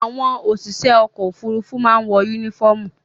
Àwọn òṣìṣẹ́ ọkọ̀-òfurufú máa ń wọ únífọ́ọ́mù.